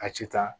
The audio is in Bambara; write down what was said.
A ti taa